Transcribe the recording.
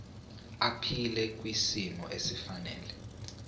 aphile kwisimo esifanele